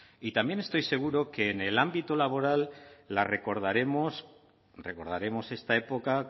y también estoy seguro que en el ámbito laboral la recordaremos recordaremos esta época